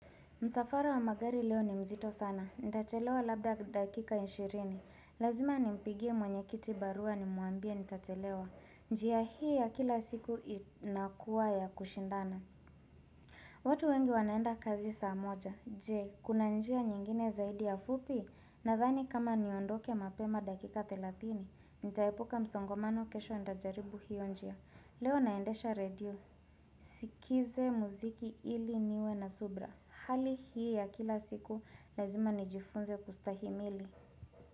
Msafara wa magari leo ni mzito sana. Ntachelewa labda dakika ishirini. Lazima nimpigie mwenyekiti baruwa nimuambia ntachelewa. Njia hii ya kila siku inakuwa ya kushindana. Watu wengi wanaenda kazi saa moja, je kuna njia nyingine zaidi ya fupi nathani kama niondoke mapema dakika thelatini, ntaepuka msongomano kesho ndajaribu hio njia. Leo naendesha radio, sikize muziki ili niwe na subra, hali hii ya kila siku lazima nijifunze kustahimili.